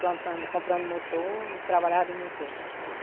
plantando, comprando motor e trabalhava em motor.